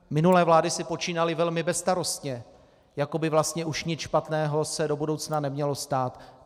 Minulé vlády si počínaly velmi bezstarostně, jako by vlastně už nic špatného se do budoucna nemělo stát.